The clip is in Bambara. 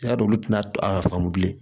I y'a dɔn olu tɛna a faamu bilen